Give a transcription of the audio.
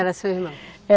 Era seu irmão?